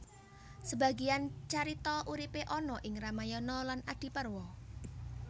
Sebagian carita uripe ana ing Ramayana lan Adiparwa